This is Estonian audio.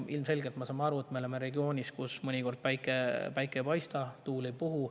Ilmselgelt me saame aru, et me oleme regioonis, kus mõnikord päike ei paista ja tuul ei puhu.